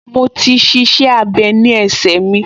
Mo ti --iṣẹ́-abẹ́ ní ẹsẹ mi